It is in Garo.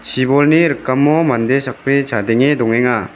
chibolni rikamo mande sakbri chadenge dongenga.